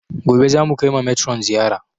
Gobe za mu kai ma metron ziyara